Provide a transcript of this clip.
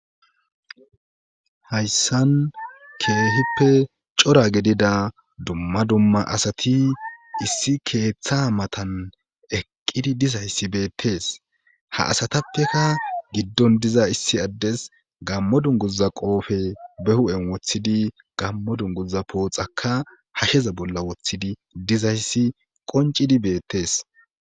Hayssan keahippe cora gedida dumma dumma asati issi keeththa matan eqqidi dizayssi beettees ha asatappeka giddon diza issi addes gammo dunguza qoofe behu7en wothidi gammo dunguza pooxaka ha heza bolla woththidi dizayssi qoncidi beettes.